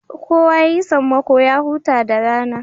Kowa yayi sammako ya huta da rana